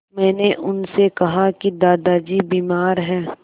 मैंने उनसे कहा कि दादाजी बीमार हैं